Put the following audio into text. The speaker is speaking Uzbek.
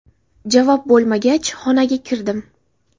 Javob bo‘lmagach, xonaga kirdim.